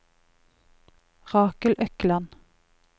Rakel Økland